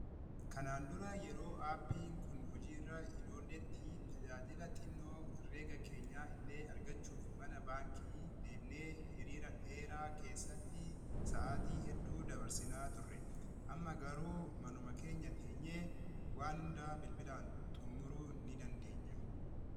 Kanaan dura yeroo aappiin kun hojiiirra hin oolletti tajaajila xinnoo herreega keenya illee argachuuf mana baankii deemnee hiriira dheeraa keessatti sa’aatii hedduu dabarsinaa turre amma garuu manuma keenya teenyee waan hundaa bilbilaan xumuruu ni dandeenya.